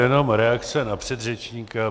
Jenom reakce na předřečníka.